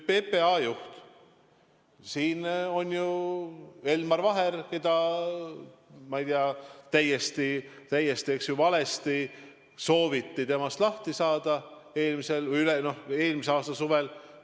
PPA juht – siin on ju Elmar Vaher, kellest, ma ei tea, täiesti valesti sooviti lahti saada, eelmise aasta suvel.